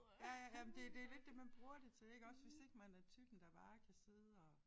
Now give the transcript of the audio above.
Ja ja ja men det det lidt det man bruger det til iggås hvis ikke man er typen der bare kan sidde og